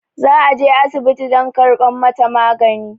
za a je asibiti dam kabar mataagani